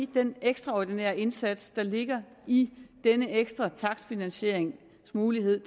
i den ekstraordinære indsats der ligger i denne ekstra takstfinansieringsmulighed